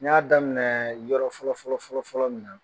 N y'a daminɛ yɔrɔ fɔlɔfɔlɔ fƆlƆ min na